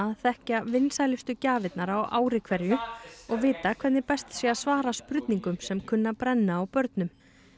að þekkja vinsælustu gjafirnar á ári hverju og vita hvernig best sé að svara spurningum sem kunna að brenna á börnum